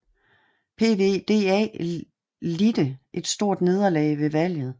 PvdA lidte et stort nederlag ved valget